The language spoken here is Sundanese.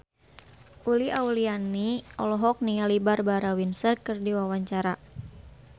Uli Auliani olohok ningali Barbara Windsor keur diwawancara